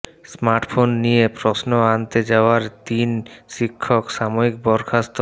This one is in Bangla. স্মার্টফোন নিয়ে প্রশ্ন আনতে যাওয়ায় তিন শিক্ষক সাময়িক বরখাস্ত